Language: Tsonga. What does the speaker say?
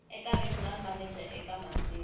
eka regional manager eka masiku